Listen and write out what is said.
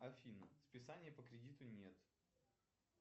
афина списания по кредиту нет